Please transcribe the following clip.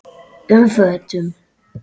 um fötum.